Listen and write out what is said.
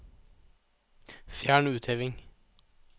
Fjern utheving